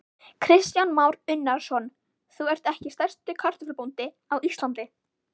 Kristján Már Unnarsson: Þú ert ekki stærsti kartöflubóndi á Íslandi?